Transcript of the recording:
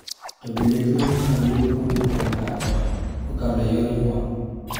To bende tuoni inyalo yud ka owuok kuom ng'ato kakalo eyor nyuol?